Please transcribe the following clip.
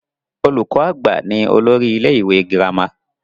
Olùkọ àgbà ni olórí ilé ìwé gírámà.